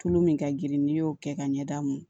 Tulu min ka girin n'i y'o kɛ ka ɲɛda m